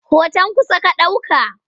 Hoton kusa ka ɗauka?